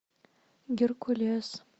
геркулес